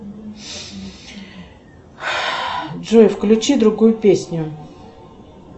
джой включи другую песню